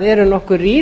eru nokkuð rýr